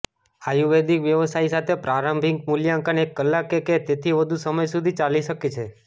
આયુર્વેદિક વ્યવસાયી સાથે પ્રારંભિક મૂલ્યાંકન એક કલાક કે તેથી વધુ સમય સુધી ચાલી શકે છે